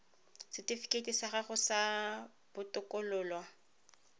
setifikeiti sa gago sa botokololo